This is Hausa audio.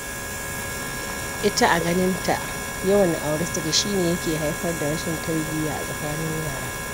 Ita a ganinta, yawan auri saki shi ne yake haifar da rashin tarbiya a tsakanin yara.